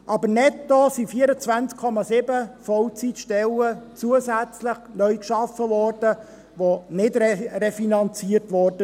Netto wurden 24,7 Vollzeitstellen zusätzlich neu geschaffen, die nicht refinanziert wurden.